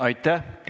Aitäh!